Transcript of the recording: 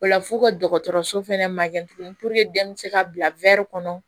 O la f'u ka dɔgɔtɔrɔso fɛnɛ magɛn tuguni den bɛ se ka bila kɔnɔ